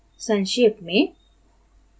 संक्षेप में